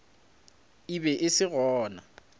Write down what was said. e be e se gona